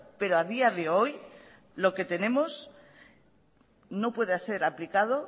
pero a día de hoy lo que tenemos no puede ser aplicados